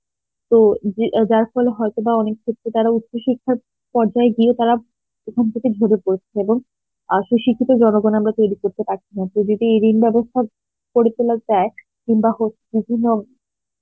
তো যে~ যার ফলে হয়েত বা অনেক ক্ষেত্রে তারা উচ্চ শিক্ষার পর্যায় গিয়ে তারা প্রথম থেকে করেছে এবং শিক্ষিত জনগণ আমরা তৈরী করতে পারছে না, এই ঋণ বেবস্থার গড়ে তোলা যায় কিনবা হচ্ছে কিনবা